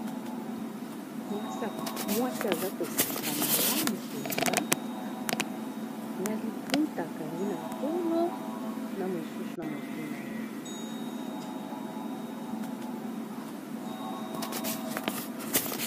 Mwasi aza koseka malamu mpenza na liputa akangi na tolo na mosusu na motu na ye.